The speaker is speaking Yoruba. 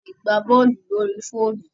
A lè gbá bọ́ọ̀lù lórí fóònù.